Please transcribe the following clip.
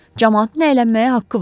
Camaatın əylənməyə haqqı var.